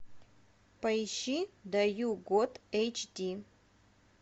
поищи даю год эйч ди